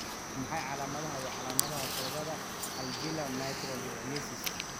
Waa maxay calaamadaha iyo calaamadaha sambabada alveolar microlithiasis?